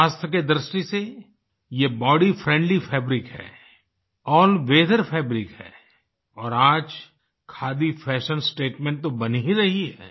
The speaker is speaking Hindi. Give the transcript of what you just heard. स्वास्थ्य की दृष्टि से ये बॉडी फ्रेंडली फैब्रिक है अल्ल वीथर फैब्रिक है और आज खादी फैशन स्टेटमेंट तो बन ही रही है